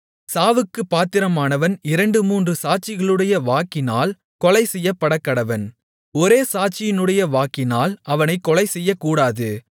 சாவுக்குப் பாத்திரமானவன் இரண்டு மூன்று சாட்சிகளுடைய வாக்கினால் கொலை செய்யப்படக்கடவன் ஒரே சாட்சியினுடைய வாக்கினால் அவனைக் கொலைசெய்யக்கூடாது